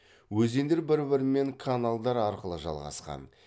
өзендер бір бірімен каналдар арқылы жалғасқан